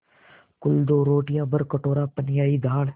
कुल दो रोटियाँ भरकटोरा पनियाई दाल